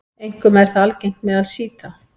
Einkum er það algengt meðal sjíta.